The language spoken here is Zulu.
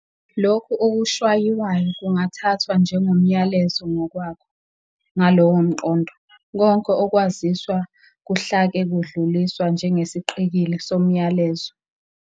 Lokho okushwayiwayo kungathathwa njengomyalezo ngokwako, ngalowomqondo, konke ukwaziswa kuhlake kudluliswa njengesiqikili somyalezo.